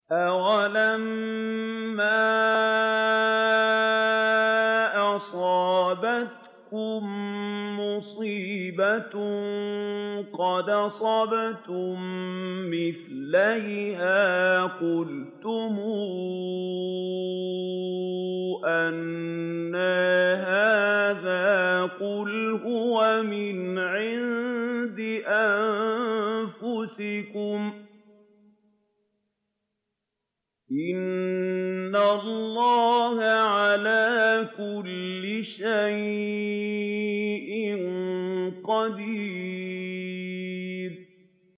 أَوَلَمَّا أَصَابَتْكُم مُّصِيبَةٌ قَدْ أَصَبْتُم مِّثْلَيْهَا قُلْتُمْ أَنَّىٰ هَٰذَا ۖ قُلْ هُوَ مِنْ عِندِ أَنفُسِكُمْ ۗ إِنَّ اللَّهَ عَلَىٰ كُلِّ شَيْءٍ قَدِيرٌ